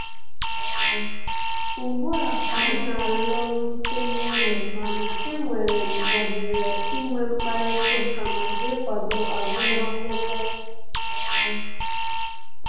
Ugbua ka m na-alọrute n'ụlọ, mana e nwere m ohere inwe mkparịta ụka maka ịkwado agụmakwụkwọ